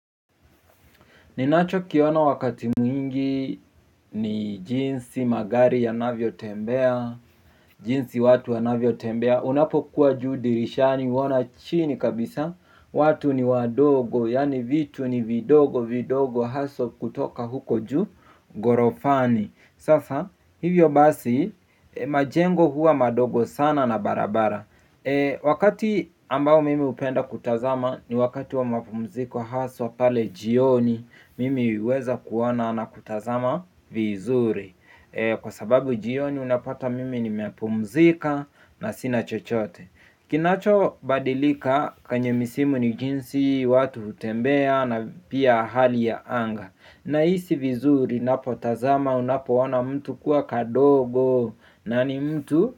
Ninacho kiona wakati mwingi ni jinsi magari yanavyotembea. Jinsi watu wanavyotembea. Unapokuwa juu dirishani uona chini kabisa. Watu ni wadogo yani vitu ni vidogo vidogo haso kutoka huko juu gorofani. Sasa hivyo basi majengo huwa madogo sana na barabara. Wakati ambao mimi upenda kutazama ni wakati wa mapumziko haso pale jioni. Mimi uweza kuona na kutazama vizuri kwa sababu jioni unapata mimi nimepumzika na sina chochote. Kinacho badilika kwenye misimu ni jinsi watu utembea na pia hali ya anga. Naisi vizuri napotazama unapoona mtu kuwa kadogo nani mtu.